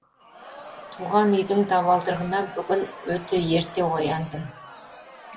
туған үйдің табалдырығына бүгін өте ерте ояндым